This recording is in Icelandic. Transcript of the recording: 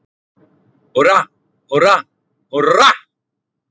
Húrra, húrra, HÚRRA!